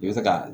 I bɛ se ka